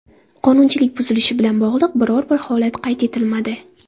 Qonunchilik buzilishi bilan bog‘liq biror-bir holat qayd etilmadi.